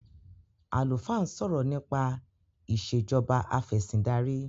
alufaa n sọrọ nipa Ìṣèjọba Afẹ̀sìndarí